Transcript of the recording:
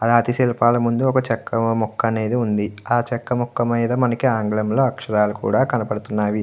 అ రాతి శిల్పాల ముందు ఒక చెక్క ముక్క అనేది ఉంది ఆ చెక్క ముక్క మీద మనకి ఆంగ్లంలో అక్షరాలు కూడా కనబడుతున్నవి.